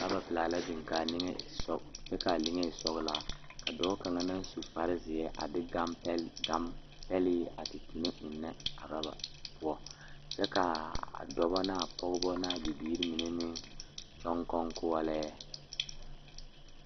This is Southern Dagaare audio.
Oroba pelaa la biŋ kaa niŋe e sɔ kyɛ kaa liŋe e pelaa dɔɔ kaŋa naŋ su kpare ziɛ a de gane pele enne a oroba poɔ kyɛ kaa dɔɔba nee pɔgeba ne a bibiiri mine meŋ kyɔŋ konkoɔlɛɛ.